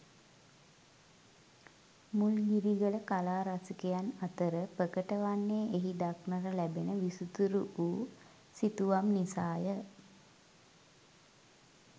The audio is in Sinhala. මුල්ගිරිගල කලා රසිකයන් අතර ප්‍රකට වන්නේ එහි දක්නට ලැබෙන විසිතුරු වූ සිතුවම් නිසාය.